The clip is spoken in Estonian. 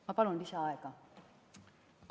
Ma palun lisaaega!